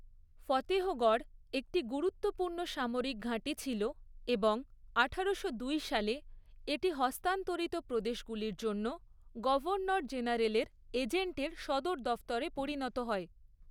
ফতেহগড় একটি গুরুত্বপূর্ণ সামরিক ঘাঁটি ছিল এবং আঠারোশো দুই সালে এটি হস্তান্তরিত প্রদেশগুলির জন্য গভর্নর জেনারেলের এজেন্টের সদর দফতরে পরিণত হয়।